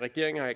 regeringen har